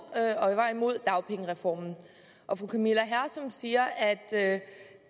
var imod dagpengereformen og fru camilla hersom siger at